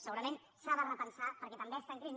segurament s’ha de repensar perquè també està en crisi